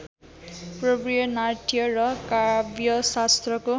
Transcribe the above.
पूर्वीय नाट्य र काव्यशास्त्रको